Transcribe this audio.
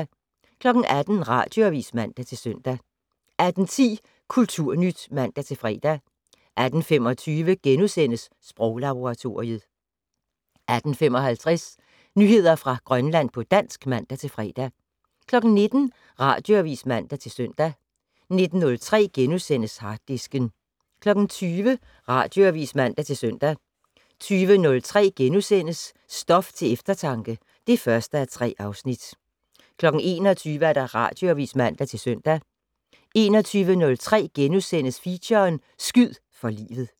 18:00: Radioavis (man-søn) 18:10: Kulturnyt (man-fre) 18:25: Sproglaboratoriet * 18:55: Nyheder fra Grønland på dansk (man-fre) 19:00: Radioavis (man-søn) 19:03: Harddisken * 20:00: Radioavis (man-søn) 20:03: Stof til eftertanke (1:3)* 21:00: Radioavis (man-søn) 21:03: Feature: Skyd for livet *